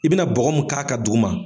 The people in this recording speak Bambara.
I bɛna bɔgɔ min k'a kan duguma